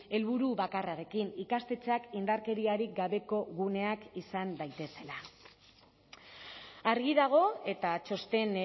helburu bakarrarekin ikastetxeak indarkeriarik gabeko guneak izan daitezela argi dago eta txosten